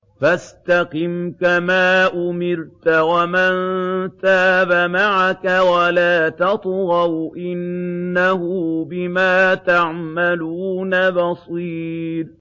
فَاسْتَقِمْ كَمَا أُمِرْتَ وَمَن تَابَ مَعَكَ وَلَا تَطْغَوْا ۚ إِنَّهُ بِمَا تَعْمَلُونَ بَصِيرٌ